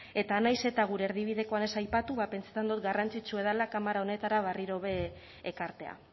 eta nahiz eta gure erdibidekoan ez aipatu ba pentsetan dot garrantzitsue dala kamara honetara barriro be ekartea